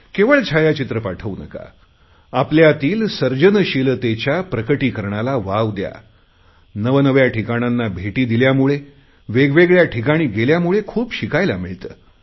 केवळ छायाचित्र पाठवू नका आपल्यातील सर्जनशीलतेच्या प्रकटीकरणाला वाव दया नवनव्या ठिकाणांना भेटी दिल्यामुळे वेगवेगळया ठिकाणी गेल्यामुळे खूप शिकायला मिळते